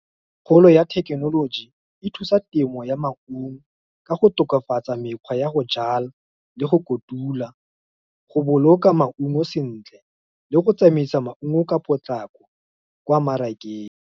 Kgolo ya thekenoloji, e thusa temo ya maungo, ka go tokafatsa mekgwa ya go jala, le go kotula, go boloka maungo sentle, le go tsamaisa maungo ka potlako, kwa mmarakeng.